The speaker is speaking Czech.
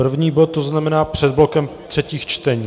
První bod, to znamená před blokem třetích čtení.